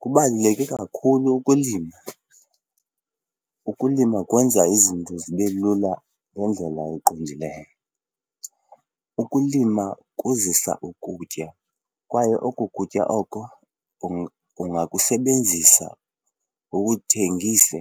Kubaluleke kakhulu ukulima. Ukulima kwenza izinto zibe lula ngendlela eqondileyo. Ukulima kuzisa ukutya kwaye oko kutya oko ungakusebenzisa ukuthengise.